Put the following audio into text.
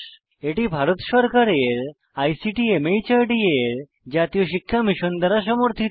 এটি ভারত সরকারের আইসিটি মাহর্দ এর জাতীয় শিক্ষা মিশন দ্বারা সমর্থিত